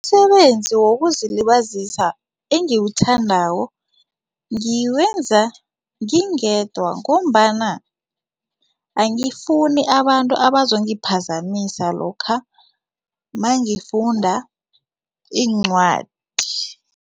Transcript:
Umsebenzi wokuzilibazisa engiwuthandako ngiwenza ngingedwa ngombana angifuni abantu abazongiphazamisa lokha mangifunda iincwadi.